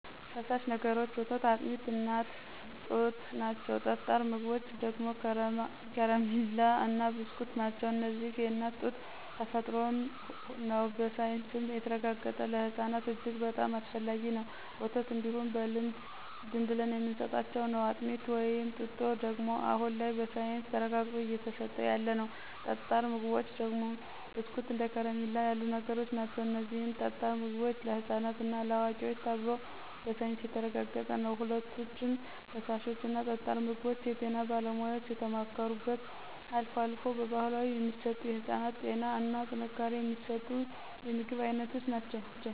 ፈሳሽ ነገሮች ወተት አጥሚት የእናት ጡት ናቸው ጠጣር ምግቦች ደግሞ ከረማላ እና ብስኩት ናቸው እነዚህም የእናት ጡት ተፈጥሮም ነው በሳይንሱም የተረጋገጠ ለህፅናት እጅግ በጣም አስፈላጊ ነው፣ ወተት እንዲሁ በልምድ ዝምብለን የምንስጣቸው ነው፣ አጥሚት ወይም ጡጦ ደግሞ አሁን ላይ በሳይንስ ተረጋግጦ እየተስጠ ያለ ነው። ጠጣር ምግቦች ደግሞ ብስኩት እንደ ከረሚላ ያሉ ነገሮች ናቸው እነዚህም ጠጣር ምግቦች ለህፃናት እና ለአዋቂዎች ተብሎ በሳይንስ የተረጋገጠ ነው። ሁለቶችም ፍሳሾች እና ጠጣር ምግቦች የጤና ባለሙያዎች የተማከሩበት አልፎ አልፎ በባህላዊ የሚሰጡ የህፅናትን ጤና እና ጥንካሬ የሚስጡ የምግብ አይነቶች ናቸው።